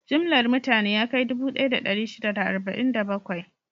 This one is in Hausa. Jimllar mutane ya kai dubu ɗaya da ɗari shida da arba'in da bakwai.